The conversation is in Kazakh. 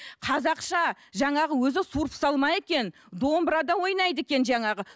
қазақша жаңағы өзі суырыпсалма екен домбырада ойнайды екен жаңағы